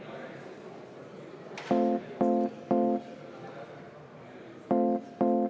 Vabandust!